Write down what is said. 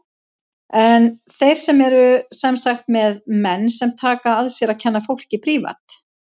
En þeir eru sem sagt með menn sem taka að sér að kenna fólki prívat.